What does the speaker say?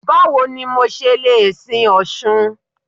Báwo ni mo ṣe le sin Ọ̀ṣun?